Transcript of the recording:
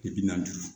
Bi na joli